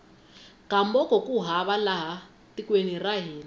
gamboko ku hava laha tekweni ra hina